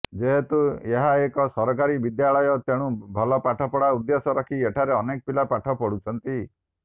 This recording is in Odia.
ଯେହେତୁ ଏହାଏକ ସରକାରୀ ବିଦ୍ୟାଳୟ ତେଣୁ ଭଲପାଠ ପଢା ଉଦ୍ଦେଶ୍ୟ ରଖି ଏଠାରେ ଅନେକ ପିଲା ପାଠ ପଢୁଛନ୍ତି